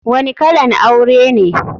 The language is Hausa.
Wani kalan aure ne?